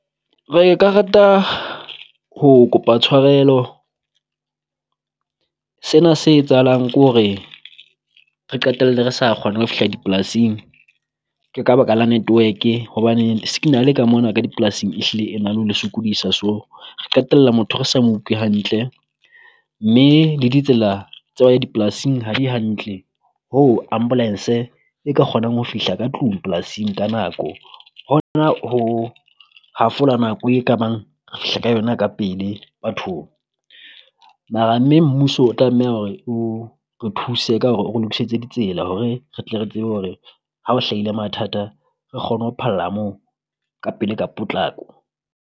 Re ka rata ho kopa tshwarelo sena se etsahalang kore re qetelle re sa kgona ho fihla dipolasing ke ka baka la network-e, hobane le signal-e ka mona ka di polasing e hlile e na le ho le sokodisa. So re qetella motho re sa mo utlwe hantle mme le ditsela tsa ho ya dipolasing ha di hantle, hoo Ambulance-e e ka kgonang ho fihla ka tlung polasing ka nako. Hona ho hafola nako e ka bang re fihla ka yona ka pele bathong. Mara mme mmuso o tlameha hore o re thuse ka hore o lokisetse ditsela, hore re tle re tsebe hore ha o hlahile mathata re kgone ho phalla moo ka pele ka potlako.